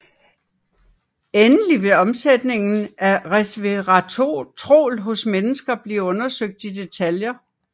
Endelig vil omsætningen af resveratrol hos mennesker blive undersøgt i detaljer